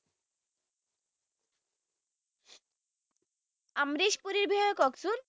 আমৃশ পুৰিৰ বিষয়ে কওকচোন